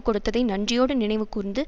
கொடுத்ததை நன்றியோடு நினைவுகூர்ந்து